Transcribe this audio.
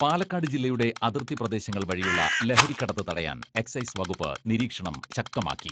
പാലക്കാട് ജില്ലയുടെ അതിർത്തി പ്രദേശങ്ങൾ വഴിയുള്ള ലഹരി കടത്ത് തടയാൻ എക്സൈസ് വകുപ്പ് നിരീക്ഷണം ശക്തമാക്കി.